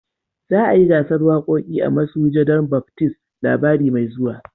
Za a yi gasan wakoki a masujadan Baptism labari mai zuwa.